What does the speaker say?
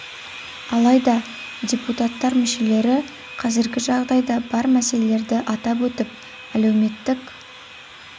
алайда депутаттар мүшелері қазіргі жағдайда бар мәселелерді атап өтіп әлеуметтік